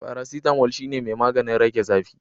faracetamol shine mai maganin rage zafi.